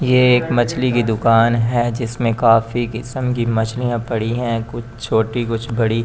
ये एक मछली की दुकान है जिसमें काफी किस्म की मछलियां पड़ी हैं कुछ छोटी कुछ बड़ी --